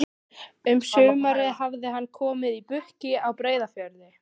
Um sumarið hafði hann komið í Brokey á Breiðafirði.